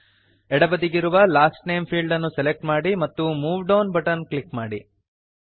ಎಡ ಬದಿಗಿರುವ last name field ಅನ್ನು ಸೆಲೆಕ್ಟ್ ಮಾಡಿ ಮತ್ತು ಮೂವ್ ಡೌನ್ ಬಟನ್ ಅನ್ನು ಕ್ಲಿಕ್ ಮಾಡಿ